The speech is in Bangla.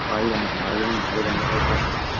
বাইরে দাঁড়িয়ে থাকে আগে যেমন বাইরে দাঁড়িয়ে থাকতো